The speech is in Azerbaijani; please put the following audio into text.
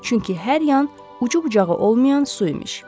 Çünki hər yan ucu-bucağı olmayan su imiş.